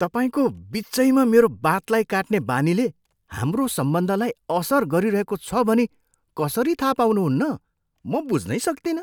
तपाईँको बिचैमा मेरो बातलाई काट्ने बानीले हाम्रो सम्बन्धलाई असर गरिरहेको छ भनी कसरी थाहा पाउनुहुन्न? म बुझ्नै सक्तिनँ।